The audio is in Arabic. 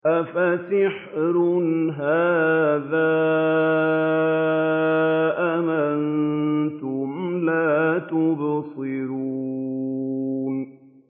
أَفَسِحْرٌ هَٰذَا أَمْ أَنتُمْ لَا تُبْصِرُونَ